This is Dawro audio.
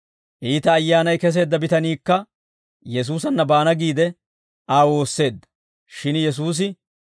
Iita ayyaanay keseedda bitaniikka Yesuusanna baana giide, Aa woosseedda; shin Yesuusi,